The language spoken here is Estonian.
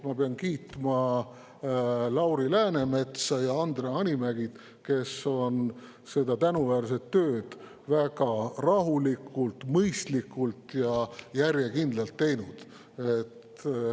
Ma pean kiitma Lauri Läänemetsa ja Andre Hanimäge, kes on seda tänuväärset tööd väga rahulikult, mõistlikult ja järjekindlalt teinud.